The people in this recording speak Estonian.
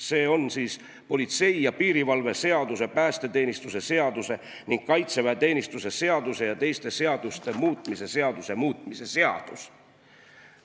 See on siis politsei ja piirivalve seaduse, päästeteenistuse seaduse ning kaitseväeteenistuse seaduse ja teiste seaduste muutmise seaduse muutmise seadus.